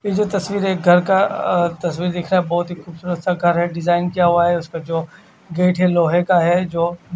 ये जो तस्वीर है एक घर का अ- तस्वीर दिख रहा है बोहोत ही खुबसुरत सा घर है डिजाईन किया हुआ उसपे जो गेट है लोहे का है जो--